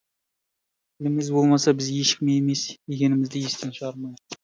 тіліміз болмаса біз ешкім емес екенімізді естен шығармайық